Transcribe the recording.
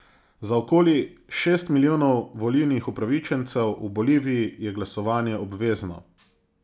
Za okoli šest milijonov volilnih upravičencev v Boliviji je glasovanje obvezno.